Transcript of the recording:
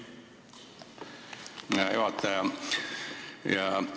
Aitäh, hea juhataja!